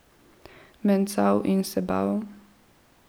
Mencal in se bal.